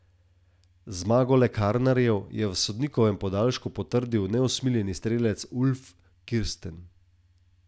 V osemdesetih so uvedli embargo in ekonomska situacija se je poslabšala.